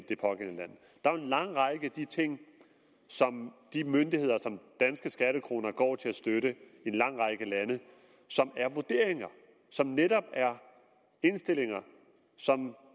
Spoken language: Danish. lang række af de ting som de myndigheder som danske skattekroner går til at støtte i en lang række lande som er vurderinger som netop er indstillinger som